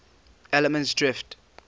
allemansdrift